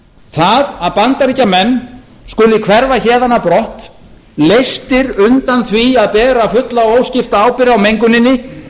það að bandaríkjamenn skuli hverfa héðan á brott leystir undan því að bera fulla og óskipta ábyrgð á menguninni